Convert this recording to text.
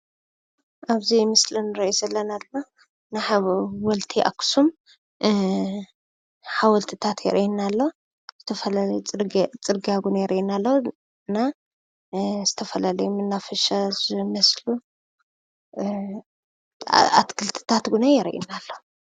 ኣብዚ ምስሊ እንርእዮ ዘለና ድማ ናይ ሓወልቲ ኣክሱም ሓወልትታት የርእየና ኣሎ:: ተፈላለዩ ፅርግያ እውን የርእየና እሎ እና ዝተፈላለዩ መናፈሻ ዝመሰሉ ኣትክልትታት እዉን የርእየና ኣሎ::